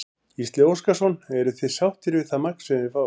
Gísli Óskarsson: Eruð þið sáttir við það magn sem þið fáið?